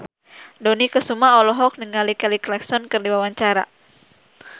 Dony Kesuma olohok ningali Kelly Clarkson keur diwawancara